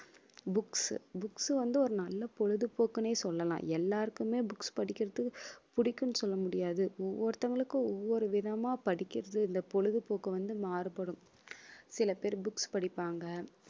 books books வந்து ஒரு நல்ல பொழுதுபோக்குன்னே சொல்லலாம் எல்லாருக்குமே books படிக்கிறது பிடிக்கும்னு சொல்ல முடியாது. ஒவ்வொருத்தவங்களுக்கும் ஒவ்வொரு விதமா படிக்கிறது இந்த பொழுதுபோக்கு வந்து மாறுபடும் சில பேர் books படிப்பாங்க